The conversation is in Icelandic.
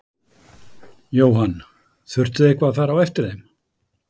Jóhann: Þurftuð þið eitthvað að fara á eftir þeim?